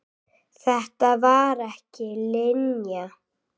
Þetta var ekki Linja.